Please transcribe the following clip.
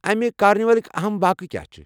امہِ کارنہِ والٕکۍ اَہَم واقعہٕ کیٚا چھِ؟